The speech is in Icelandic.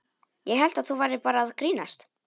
Ég hélt að þú værir bara að grínast.